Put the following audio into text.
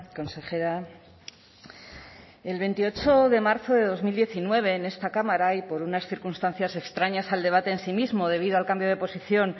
consejera el veintiocho de marzo de dos mil diecinueve en esta cámara y por unas circunstancias extrañas al debate en sí mismo debido al cambio de posición